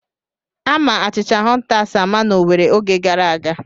Ama achịcha hụntas ama n'Owere oge gara aga.